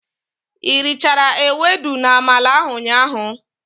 I richara ewedu na-amala ahụ ụnyaahụ?